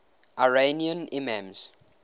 iranian imams